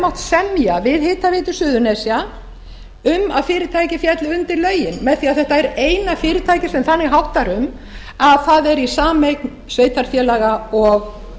mátt semja við hitaveitu suðurnesja um að fyrirtækið félli undir lögin með því að þetta er eina fyrirtækið sem þannig háttar um að það er í sameign sveitarfélaga og